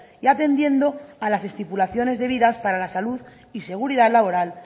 y atendiendo a las estipulaciones debidas para la salud y seguridad laboral